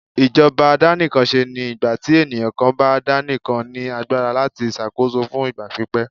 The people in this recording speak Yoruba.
ìjọba àdàníkánsé ní ìgbàtí eniyan kan bá daníkán ní agbara latí ṣàkóso fún ìgbà pípẹ́.